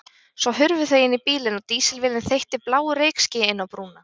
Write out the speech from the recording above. Svo hurfu þau inn í bílinn og dísilvélin þeytti bláu reykskýi inn á brúna.